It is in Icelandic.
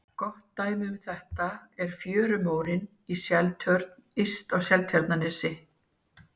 Gott dæmi um þetta er fjörumórinn í Seltjörn yst á Seltjarnarnesi.